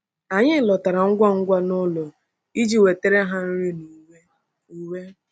Anyị lọtara ngwa ngwa n’ụlọ iji wetara ha nri na uwe. uwe.